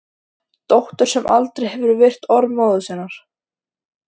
Dóttur sem aldrei hefur virt orð móður sinnar.